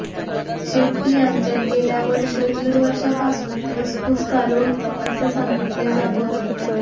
शेट्टी यांच्यात गेल्या वर्ष दीड वर्षांपासून धुसफूस चालू होती असे सांगितले जात होते